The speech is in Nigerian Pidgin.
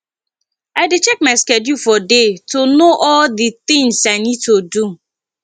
i dey check my schedule for day to know all the things i need to do